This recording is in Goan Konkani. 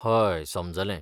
हय, समजलें.